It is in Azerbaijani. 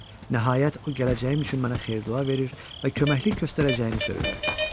Nəhayət o gələcəyim üçün mənə xeyir-dua verir və köməklik göstərəcəyini söyləyirdi.